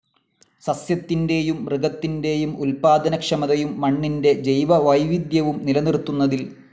സസ്യത്തിന്റേയും മൃഗത്തിന്റേയും ഉൽപ്പാദനക്ഷമതയും മണ്ണിന്റെ ജൈവവൈവിധ്യവും നിലനിർത്തുന്നതിൽ